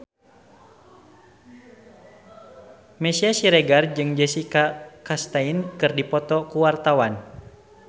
Meisya Siregar jeung Jessica Chastain keur dipoto ku wartawan